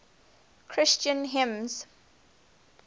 christian hymns